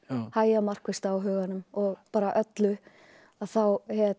hægja markvisst á huganum og bara öllu að þá